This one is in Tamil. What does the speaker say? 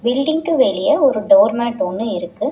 பில்டிங்க்கு வெளிய ஒரு டோர் மேட் ஒன்னு இருக்கு.